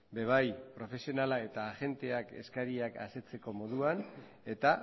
be bai profesionala eta agenteak eskariak asetzeko moduan eta